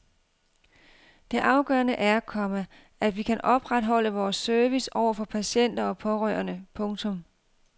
Det afgørende er, komma at vi kan opretholde vores service over for patienter og pårørende. punktum